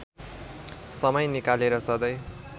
समय निकालेर सधैँ